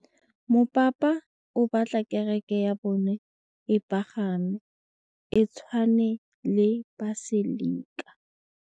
Mopapa o batla kereke ya bone e pagame, e tshwane le paselika.